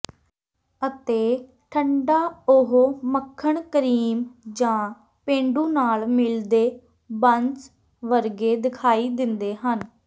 ਅਤੇ ਠੰਢਾ ਉਹ ਮੱਖਣ ਕਰੀਮ ਜਾਂ ਪੇਂਡੂ ਨਾਲ ਮਿਲਦੇ ਬੰਸ ਵਰਗੇ ਦਿਖਾਈ ਦਿੰਦੇ ਹਨ